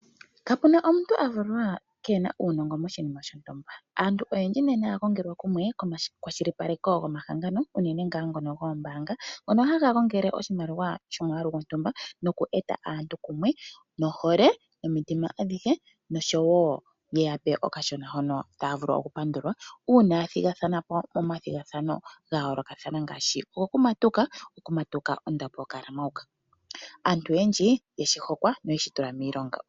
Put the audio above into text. Kapu na omuntu a valwa ke na uunongo moshinima shontumba. Aantu oyendji nena ya gongelwa kumwe komakwashilipaleko gomahangano, unene ngaa ngono goombaanga ngono haga gongele oshimaliwa shomwaalu gontumba noku eta aantu kumwe nohole, nomitima adhihe noshowo ye ya pe okashona hono taya vulu okupandulwa uuna ya thigathana po momathigathano ga yoolokathana ngaashi gokumatuka. Okumatuka ondapo yokalamauka. Aantu oyendji ye shi hokwa noye shi tula miilonga.